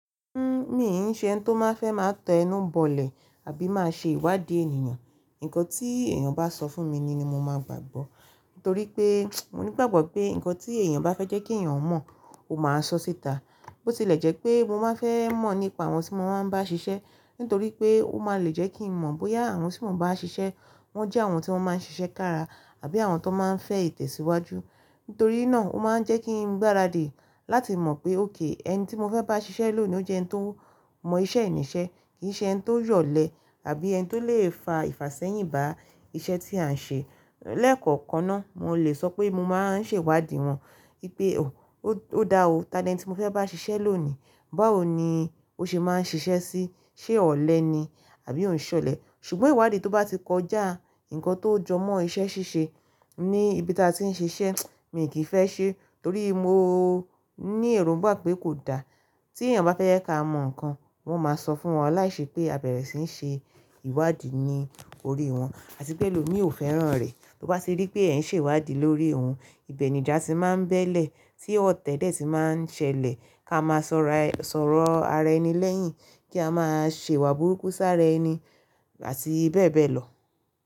Uhm, miì n ṣe ẹni tí ó máa fẹ́ máa tẹ inú bọ̀lẹ̀ àbí máa ṣe ìwádìí ènìyàn. Ǹkan tí èèyàn bá sọ fún mi ni mí máa gbàgbọ́. Nítorí pé, mo nígbàgbọ́ pé ǹkan tí èèyàn bá fẹ́ jẹ́ kí èèyàn mọ̀, ó máa sọ síta. Bó tilẹ̀ jẹ́ pé mo máa fẹ́ mọ̀ nípa àwọn tí mo máa bá ń ṣiṣẹ́. Nítorí pé ó máa lè jẹ́ kí n mọ̀ bóyá àwọn tí mò ń bá ṣiṣẹ́ wọ́n jẹ́ àwọn tí wọ́n máa ń ṣiṣẹ́ kára àbí àwọn tó máa ń fẹ ìtẹ̀síwájú. Nítorí náà ó máa ń jẹ́ kí n gbáradì láti mọ̀ pé, "Okay, ẹni tí mo fẹ́ bá ṣiṣẹ́ lónìí ni ó jẹ́ ẹni tó mọ iṣẹ́ ènìyàn ṣe, kì í ṣe ẹni tó yọ̀lẹ àbí ẹni tí ó lè fa ìfàsẹ́yìn bá iṣẹ́ tí a ń ṣe." Lẹ́kọ̀ọ̀kan náà mo lè sọ pé mo máa ń ṣe ìwádìí wọn wípé, "Oh, ó dáhùn, talent tí mo fẹ́ bá ṣiṣẹ́ lónìí, báwo ni ó ṣe máa ń ṣiṣẹ́ sí? Ṣé ọ̀lẹ ni? Àbí òún ṣọ̀lẹ?" Ṣùgbọ́n ìwádìí tó bá ti kọjá ǹkan tó jọmọ́ iṣẹ́ ṣíṣe ní ibi tí a ti ń ṣe iṣẹ́, mì kí í fẹ́ ṣe. Torí mo ní èrògbà pé kò da. Tí èèyàn bá fẹ́ yẹ ká mọ ǹkan, wọ́n máa sọ fún wọn láìṣé pé a bẹ̀rẹ̀ sí ń ṣe ìwádìí ní orí wọn. Àti pé lòní ò fẹ́ràn rẹ̀. Tó bá ti rí pé ẹ̀ ń ṣe ìwádìí lórí òun, ibẹ̀ ni ìjà ti máa ń bẹ́lẹ̀, tí ó tẹ́lẹ̀ ti máa ń ṣẹlẹ̀. Ká máa sọ̀rọ̀ ara ẹni lẹ́yìn, kí a máa ṣèwá burúkú sára ẹni àti bẹ́ẹ̀ bẹ́ẹ̀ lọ.